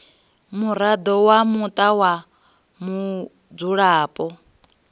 muraḓo wa muṱa wa mudzulapo